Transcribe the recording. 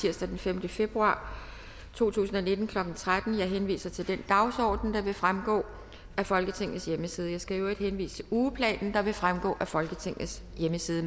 tirsdag den femte februar to tusind og nitten klokken tretten jeg henviser til den dagsorden der vil fremgå af folketingets hjemmeside jeg skal i øvrigt henvise til ugeplanen der vil fremgå af folketingets hjemmeside